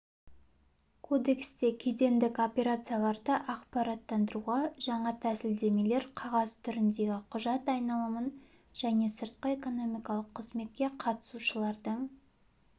лауазымды тұлғалармен байланысын азайту мақсатында бизнес үшін мемлекеттік органдармен өзара іс-қимылдың ыңғайлы алгоритмі енгізілгелі отыр